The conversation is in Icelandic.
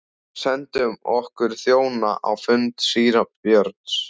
Sendum okkar þjóna á fund síra Björns.